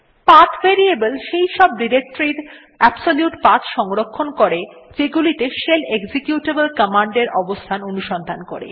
path variable সেই সব ডিরেক্টরীর এর অ্যাবসোলিউট পাথ সংরক্ষণ করে যেগুলিতে শেল এক্সিকিউটেবল কমান্ড এর অবস্থান অনুসন্ধান করে